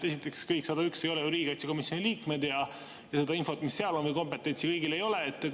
Esiteks, kõik 101 ei ole ju riigikaitsekomisjoni liikmed ja seda infot, mis seal on, või kompetentsi kõigil ei ole.